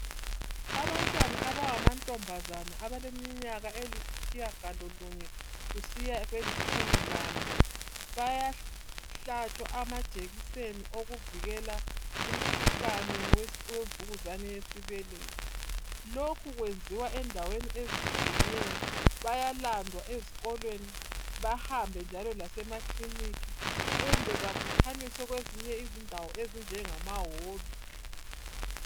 Abantwana abangama ntombazana abaleminyaka ayisitshiyagali lunye kusiya kwelitshumi lanye bayahlatshwa amajekiseni wekuvikela umkhuhlane we mvunkuzane yesibeletho lokhu kwenziwa endaweni ezitshiyeneyo bayalandwa esikolweni bahambe njalo lasemakiliniki kumbe babuthanyiswe kwezinye indawo ezinjengama holu